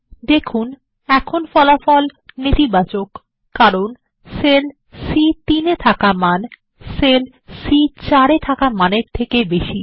দেখুন এখন ফলাফল নেতিবাচক কারণ সেল সি3 মান সেল সি4 এর মান চেয়ে বেশী